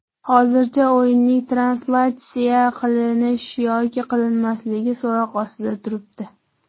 Hozircha o‘yinning translyatsiya qilinish yoki qilinmasligi so‘roq ostida turibdi.